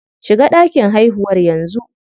Shiga ɗakin haihuwar yanzu.